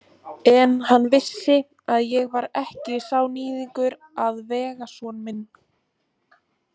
En hann vissi að ég var ekki sá níðingur að vega son minn.